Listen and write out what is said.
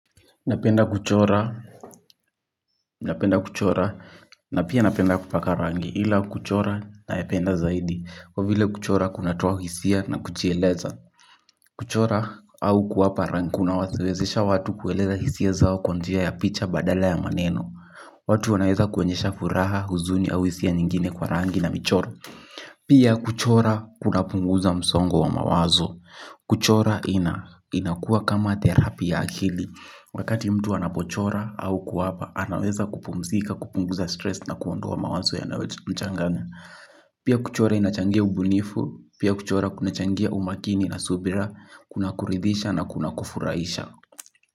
Napenda kuchora na pia napenda kupaka rangi ila kuchora napenda zaidi. Kwa vile kuchora kuna toa hisia na kujieleza. Kuchora au kuwapa rangi kuna wawezesha watu kueleza hisia zao kwa njia ya picha badala ya maneno. Watu wanaweza kuenyesha furaha huzuni au hisia nyingine kwa rangi na michoro. Pia kuchora kuna punguza msongo wa mawazo. Kuchora inakua kama therapy ya akili. Wakati mtu anapochora au kuapa, anaweza kupumzika, kupunguza stress na kuondoa mawazo yanayo mchanganya. Pia kuchora inachangia ubunifu, pia kuchora kunachangia umakini na subira, kuna kuridhisha na kuna kufurahaisha.